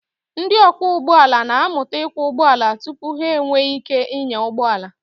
Ndị ọkwọ ụgbọala na-amụta ịkwọ ụgbọala tupu ha enwee ike ịnya ụgbọ ala.